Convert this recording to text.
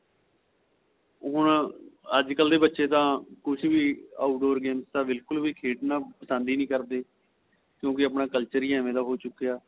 ਉਹ ਹੁਣ ਅੱਜ ਕੱਲ ਦੇ ਬੱਚੇ ਤਾਂ ਕੁੱਛ ਵੀ outdoor game ਤਾਂ ਬਿਲਕੁਲ ਵੀ ਖੇਲਣਾ ਪਸੰਦ ਹੀ ਨਹੀਂ ਕਰਦੇ ਕਿਉਂਕਿ ਆਪਣਾ culture ਹੀ ਐਵੇ ਦਾ ਹੋ ਚੁੱਕਿਆ